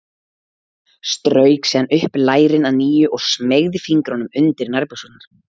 Strauk síðan upp lærin að nýju og smeygði fingrunum undir nærbuxurnar.